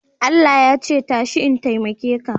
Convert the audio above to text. Allah ya ce, tashi in taimake ka